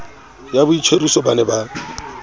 ya boitjhoriso ba ne ba